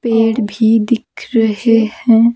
पेड़ भी दिख रहे हैं।